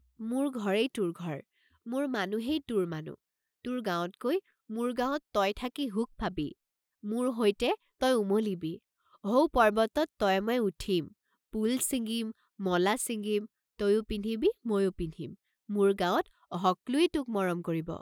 মুৰ ঘৰেই তুৰ ঘৰ, মুৰ মানুহেই তুৰ মানু, তুৰ গাওঁতকৈ মুৰ গাওঁত তই থাকি হুখ পাবি, মুৰ হৈতে তই উমলিবি, হৌ পৰ্ব্বতত তয়ে ময়ে উঠিম, পুল চিঙ্গিম, মলা সিঙ্গিম, তয়ো পিন্ধিবি ময়ো পিন্ধিম, মুৰ গাওঁত হকলুই তুক মৰম কৰিব।